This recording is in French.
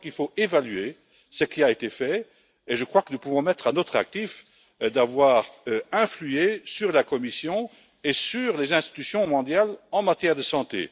Je crois qu'il faut évaluer ce qui a été fait et je crois que nous pouvons mettre à notre actif d'avoir eu une influence sur la Commission et sur les institutions mondiales en matière de santé.